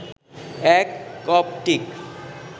এক কপ্টিক